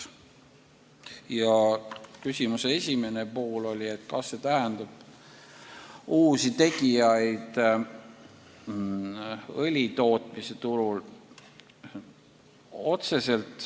Aga küsimuse esimene pool oli, kas me peame silmas uusi tegijaid õlitootmise turul.